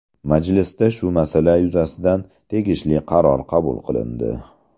Majlisda shu masala yuzasidan tegishli qaror qabul qilindi.